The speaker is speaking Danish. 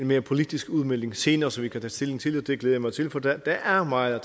mere politisk udmelding senere som vi kan tage stilling til det glæder jeg mig til for der er meget